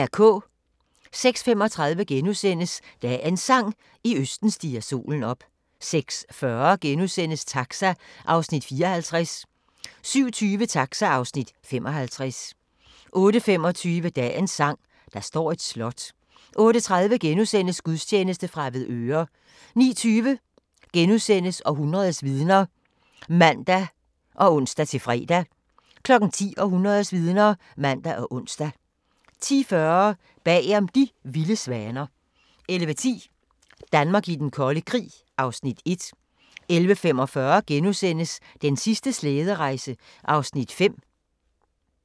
06:35: Dagens Sang: I østen stiger solen op * 06:40: Taxa (Afs. 54)* 07:20: Taxa (Afs. 55) 08:25: Dagens sang: Der står et slot 08:30: Gudstjeneste fra Avedøre * 09:20: Århundredets vidner *(man og ons-fre) 10:00: Århundredets vidner (man og ons) 10:40: Bagom De vilde svaner 11:10: Danmark i den kolde krig (Afs. 1) 11:45: Den sidste slæderejse (5:8)*